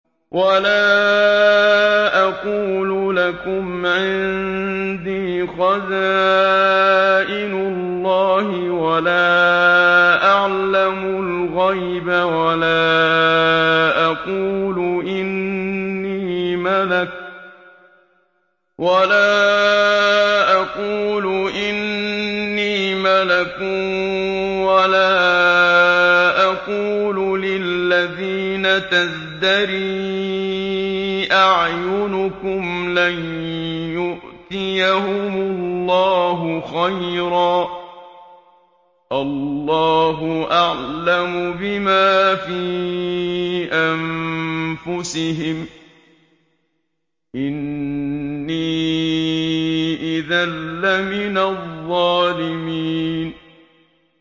وَلَا أَقُولُ لَكُمْ عِندِي خَزَائِنُ اللَّهِ وَلَا أَعْلَمُ الْغَيْبَ وَلَا أَقُولُ إِنِّي مَلَكٌ وَلَا أَقُولُ لِلَّذِينَ تَزْدَرِي أَعْيُنُكُمْ لَن يُؤْتِيَهُمُ اللَّهُ خَيْرًا ۖ اللَّهُ أَعْلَمُ بِمَا فِي أَنفُسِهِمْ ۖ إِنِّي إِذًا لَّمِنَ الظَّالِمِينَ